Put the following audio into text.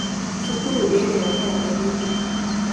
Cukuru ĩrĩa nĩ ya airĩtu tu.